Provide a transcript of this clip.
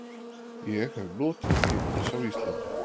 Ég hef notið tímans á Íslandi.